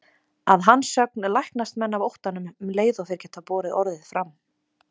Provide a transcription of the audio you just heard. Að hans sögn læknast menn af óttanum um leið og þeir geta borið orðið fram.